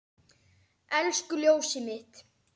Elsku ljósið mitt.